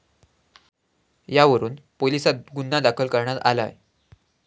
यावरून पोलिसांत गुन्हा दाखल करण्यात आलाय.